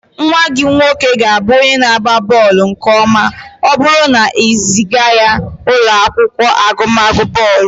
Nwa gị nwoke ga-abụ onye na-agba bọọlụ nke ọma ma ọ bụrụ na ị zịga ya ụlọ akwụkwọ agụmakwụkwọ bọọlụ